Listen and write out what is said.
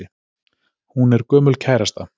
Hún er gömul kærasta.